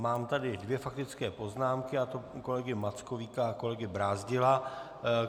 Mám tady dvě faktické poznámky, a to kolegy Mackovíka a kolegy Brázdila.